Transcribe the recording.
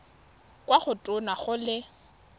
kwa go tona go le